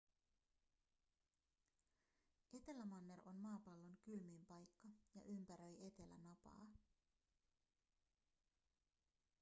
etelämanner on maapallon kylmin paikka ja ympäröi etelänapaa